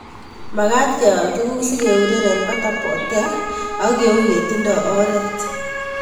Makat kewal tuguk sikeureren eng pata potea ak yeu yetindo oret.